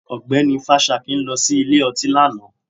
Ọgbẹ́ni Fásakin lọ sí ilé ọtí lánàá